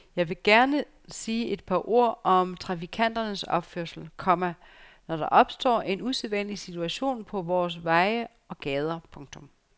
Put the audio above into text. Jeg vil gerne sige et par ord om trafikanternes opførsel, komma når der opstår en usædvanlig situation på vores veje og gader. punktum